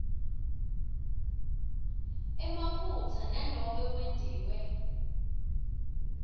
emaphutsa nanobe kwentiwe